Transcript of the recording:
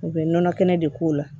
U bɛ nɔnɔ kɛnɛ de k'o la